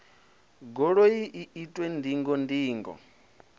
goloi i itwe ndingo ndingo